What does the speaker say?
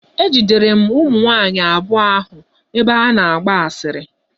Ejidere m ụmụ nwaanyị abụọ ahụ ebe ha na-agba asịrị.